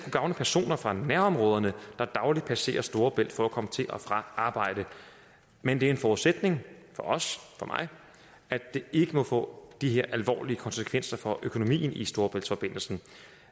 gavne personer fra nærområderne der dagligt passerer storebælt for at komme til og fra arbejde men det er en forudsætning for os og for mig at det ikke må få de her alvorlige konsekvenser for økonomien i storebæltsforbindelsen